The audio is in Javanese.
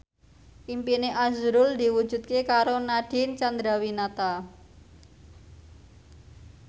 impine azrul diwujudke karo Nadine Chandrawinata